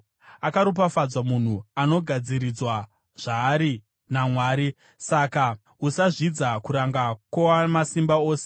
“Akaropafadzwa munhu anogadziridzwa zvaari naMwari; saka usazvidza kuranga kwoWamasimba Ose.